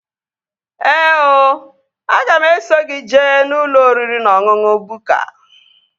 Ee ooooo, aga m eso gị jee ụlọ oriri na ọṅụṅụ Bukka